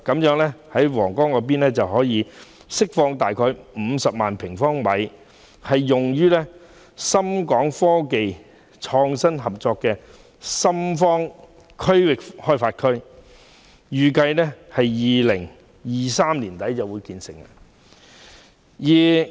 因此，將可釋放約50萬平方米土地，以興建深港科技創新合作區的深方科創園區，預計會於2023年年底建成。